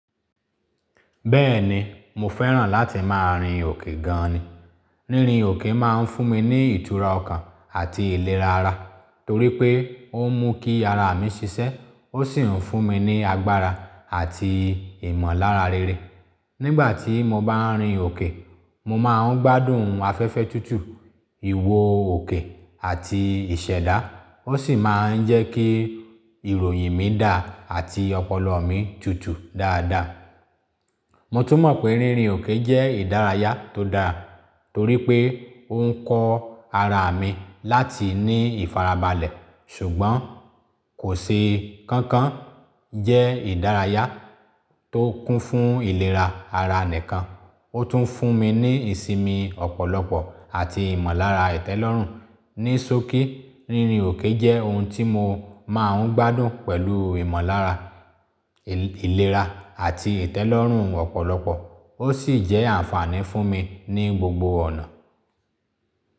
Bẹ́ẹ̀ni, mo fẹ́ràn láti máa rin òkè gan ni. Rírin òkè máa ń fún mi ní ìtura ọkàn àti ìlera ara torí pé ó n mú kí ara mi ṣiṣẹ́, ó sì ń fún mi ní agbára àti ìmọ̀lára rere. Nígbà tí mo bá rin òkè, mo máa ń gbádùn afẹ́fẹ́ tútù, ìwo òkè àti ìṣẹ̀dá. Ó sì máa ń jẹ́ kí ìròyìn mi dà àti ọpọlọ mi tutù dáadáa. Mo tún mọ̀ pé rírin òkè jẹ́ ìdárayá tó dáa torí pé ó ń kọ ara mi láti ní ìfarabalẹ̀. Ṣùgbọ́n kò ṣe kankan jẹ́ ìdárayá tó kún fún ìlera ara nìkan, ó tún fún mi ní ìsinmi ọ̀pọ̀lọpọ̀ àti ìmọ̀lára ìtẹ́lọ́rùn. Ní sókí, rírin òkè jẹ́ ohun tí mo máa ń gbádùn pẹ̀lú ìmọ̀lára, ìlera àti ìtẹ́lọ́rùn ọ̀pọ̀lọpọ̀. Ó sì jẹ́ àǹfààní fún mi ní gbogbo ọ̀nà.